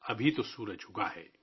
ابھی تو سورج اُگا ہے